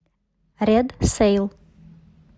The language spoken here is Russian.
ред сэйл